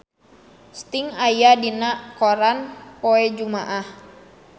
Sting aya dina koran poe Jumaah